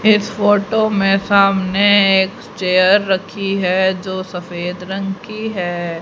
इस फोटो में सामने एक चेयर रखी है जो सफेद रंग की हैं।